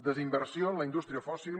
desinversió en la indústria fòssil